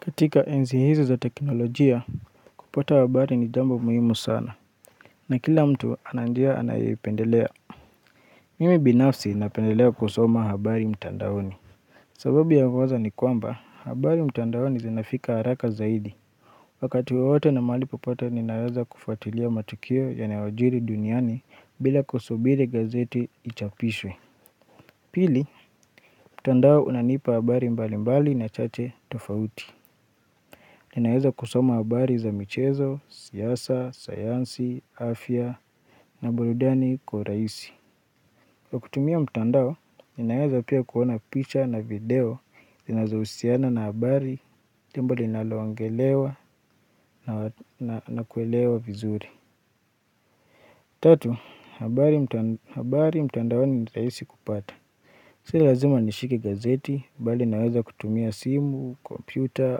Katika enzi hizi za teknolojia, kupata habari ni jambo muhimu sana. Na kila mtu ananjia anayoipendelea. Mimi binafsi napendelea kusoma habari mtandaoni. Sababu ya kwanza ni kwamba, habari mtandaoni zinafika haraka zaidi. Wakati wowote na mali popote ninaweza kufuatilia matukio yanayojiri duniani bila kusubiri gazeti ichapishwe. Pili, mtandao unanipa habari mbali mbali na chache tofauti. Ninaweza kusoma habari za michezo, siyasa, sayansi, afya na barudani kwa raisi Kwa kutumia mtandao, ninaweza pia kuona picture na video Zinazousiana na habari, jambo linaloangelewa na kuelewa vizuri Tatu, habari mtandao ni raisi kupata Si lazima nishike gazeti, bali naweza kutumia simu, komputer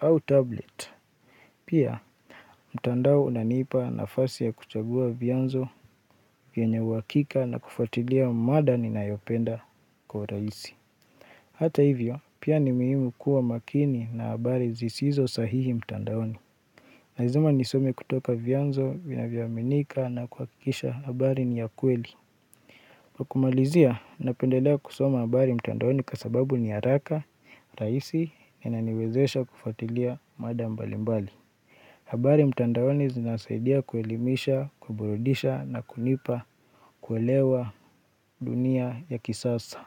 au tablet Pia, mtandao unaniipa nafasi ya kuchagua vianzo vianye wakika na kufatilia mada ninayopenda kwa raisi. Hata hivyo, pia ni muhimu kuwa makini na habari zisizo sahihi mtandaoni. Lazima nisome kutoka vianzo vinavyoaminika na kuakikisha habari ni ya kweli. Kwa kumalizia, napendelea kusoma habari mtandaoni kwa sababu ni ya haraka, raisi, ininaniwezesha kufatilia mada mbalimbali. Habari mtandaoni zinasaidia kuelimisha, kuburudisha na kunipa kuelewa dunia ya kisasa.